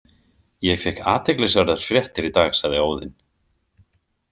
Ég fékk athyglisverðar fréttir í dag, sagði Óðinn.